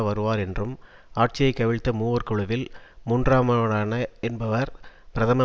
வருவார் என்றும் ஆட்சியை கவிழ்த்த மூவர் குழுவில் மூன்றாமவரான என்பவர் பிரதம